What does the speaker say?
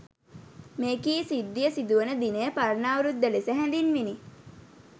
මෙකී සිද්ධිය සිදු වන දිනය පරණ අවුරුද්ද ලෙස හැඳින්විණි.